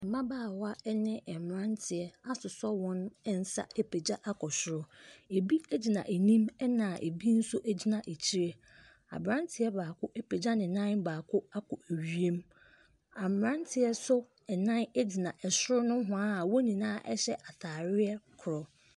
Mmabaawa ne mmeranteɛ asosɔ wɔn nsa apagya akɔ soro. Ɛbi gyina anim, ɛna ɛbi nso gyina akyire. Aberanteɛ baako apagya ne nan baako akɔ wiem. A mmeranteɛ so nnan gyina soro nohoa a wɔn nyinaa hyɛ atadeɛ korɔ.